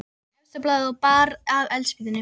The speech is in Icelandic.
Þá tók ég efsta blaðið og bar að eldspýtunni.